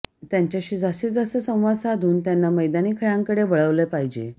त्यांच्याशी जास्तीत जास्त संवाद साधून त्यांना मैदानी खेळांकडे वळवले पाहिजे